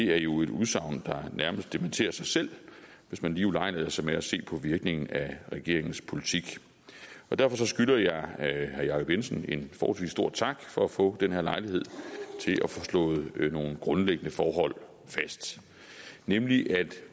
det er jo et udsagn der nærmest dementerer sig selv hvis man lige ulejliger sig med at se på virkningen af regeringens politik og derfor skylder jeg herre jacob jensen en forholdsvis stor tak for at få den her lejlighed til at få slået nogle grundlæggende forhold fast nemlig at